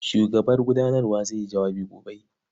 Shugaban gudanawar zai yi jawabi gobe.